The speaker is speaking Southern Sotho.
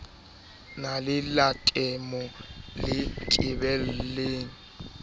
na le letamo le tebileng